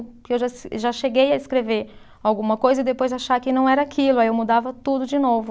Porque eu já se, já cheguei a escrever alguma coisa e depois achar que não era aquilo, aí eu mudava tudo de novo.